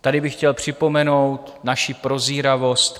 Tady bych chtěl připomenout naši prozíravost.